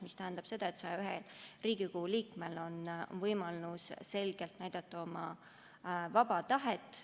See tähendab seda, et 101 Riigikogu liikmel on võimalus selgelt näidata oma vaba tahet.